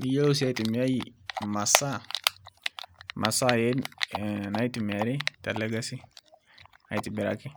niyiolo sii aitumia masaa naitumiai tele kazi aitobiraki